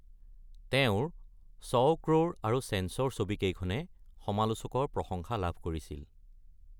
তেওঁৰ ছৌ ক্ৰ’ৰ আৰু চেঞ্চৰ ছবিকেইখনে সমালোচকৰ প্ৰশংসা লাভ কৰিছিল।